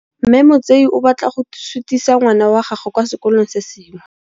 Mme Motsei o batla go sutisa ngwana wa gagwe kwa sekolong se sengwe.